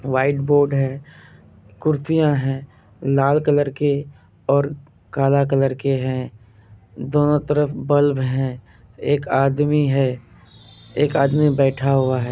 White board है कुर्सियाँ है लाल कलर के और काला कलर के है दोनों तरफ बल्ब है एक आदमी है एक आदमी बैठा हुआ है।